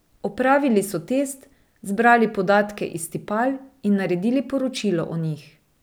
Opravili so test, zbrali podatke iz tipal in naredili poročilo o njih.